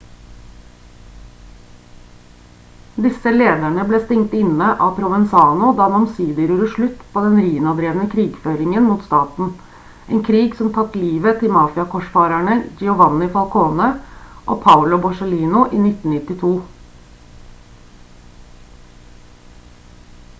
disse lederne ble stengt inne av provenzano da han omsider gjorde slutt på den riina-drevne krigføringen mot staten en krig som tatt livet til mafia-korsfarerne giovanni falcone og paolo borsellino i 1992»